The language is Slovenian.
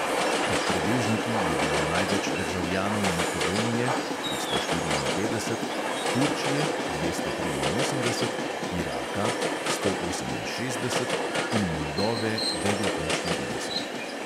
Med prebežniki je bilo največ državljanov makedonije (tristo štiriinpetdeset), turčije (dvesto triinosemdeset), iraka (sto oseminšestdeset) in moldove